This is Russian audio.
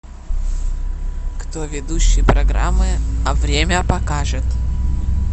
кто ведущий программы время покажет